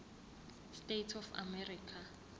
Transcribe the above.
states of america